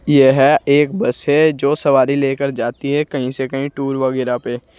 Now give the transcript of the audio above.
यह एक बस है जो सवारी लेकर जाती है कहीं से कहीं टूर वगैरा पे।